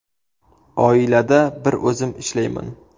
Oilada bir o‘zim ishlayman.